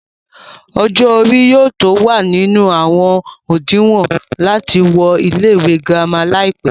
ọjọ́ orí yóò tó wà nínú àwọn òdinwọ̀n láti wọ ilé ìwé girama láìpẹ́